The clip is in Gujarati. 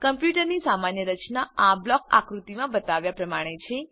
કમ્પ્યુટરની સામાન્ય રચના આ બ્લોક આકૃતિમાં બતાવ્યા પ્રમાણે છે